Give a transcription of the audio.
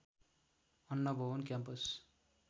अन्न भवन क्याम्पस